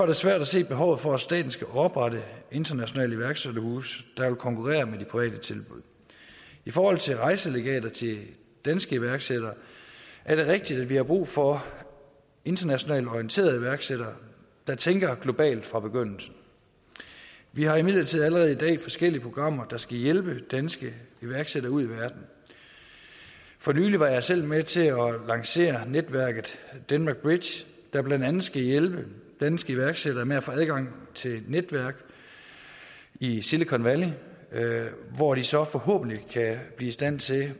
det svært at se behovet for at staten skal oprette internationale iværksætterhuse der jo vil konkurrere med de private tilbud i forhold til rejselegater til danske iværksættere er det rigtigt at vi har brug for internationalt orienterede iværksættere der tænker globalt fra begyndelsen vi har imidlertid allerede i dag forskellige programmer der skal hjælpe danske iværksættere ud i verden for nylig var jeg selv med til at lancere netværket denmark bridge der blandt andet skal hjælpe danske iværksættere med at få adgang til netværk i silicon valley hvor de så forhåbentlig kan blive i stand til